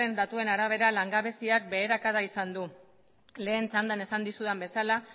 datuen arabera langabeziak beherakada izan du lehen txandan esan dizudan bezala